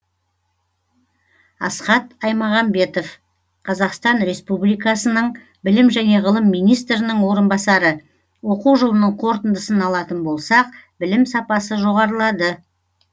асхат аймағамбетов қазақстан республикасының білім және ғылым министрінің орынбасары оқу жылының қорытындысын алатын болсақ білім сапасы жоғарылады